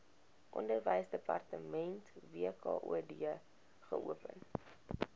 onderwysdepartement wkod geopen